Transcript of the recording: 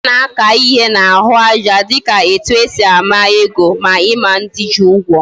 Ana aka ihe na ahu aja dika etu esi ama ego, ma Ima ndi ji Ugwo